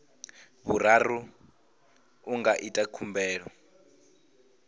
vhuraru a nga ita khumbelo